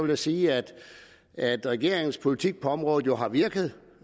jeg sige at regeringens politik på området jo har virket